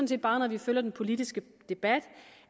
bare når vi følger den politiske debat